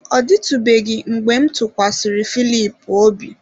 Ọ dịtụbeghị mgbe m tụkwasịrị Filip obi.